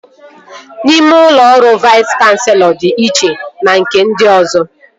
Ime ụlọ ọrụ Vais Kanselọ dị iche na nke ndị ọzọ